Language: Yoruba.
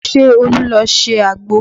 Ṣé Olu ló ṣe àgbò?